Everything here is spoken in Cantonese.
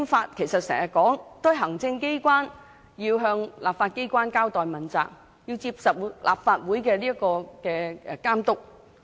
我們時常說行政機關要向立法機關交代和問責，並接受立法會監督。